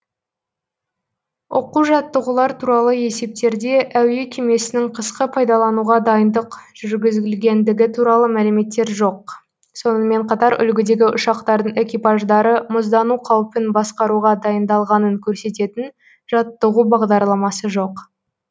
оқу жаттығулар туралы есептерде әуе кемесінің қысқы пайдалануға дайындық жүргізілгендігі туралы мәліметтер жоқ сонымен қатар үлгідегі ұшақтардың экипаждары мұздану қаупін басқаруға дайындалғанын көрсететін жаттығу бағдарламасы жоқ